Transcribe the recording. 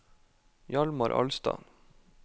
Hjalmar Alstad